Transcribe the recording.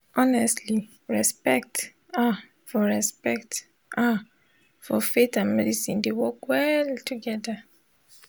honestly respect ah for respect ah for faith and medicine dey work well togeda